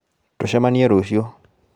Tucemanie rũciũ